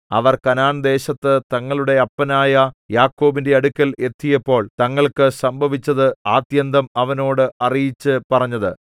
അവർ കനാൻദേശത്തു തങ്ങളുടെ അപ്പനായ യാക്കോബിന്റെ അടുക്കൽ എത്തിയപ്പോൾ തങ്ങൾക്കു സംഭവിച്ചത് ആദ്യന്തം അവനോട് അറിയിച്ചു പറഞ്ഞത്